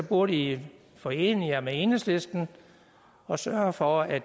burde i forene jer med enhedslisten og sørge for at